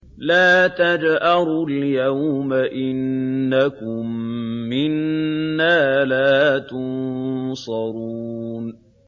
لَا تَجْأَرُوا الْيَوْمَ ۖ إِنَّكُم مِّنَّا لَا تُنصَرُونَ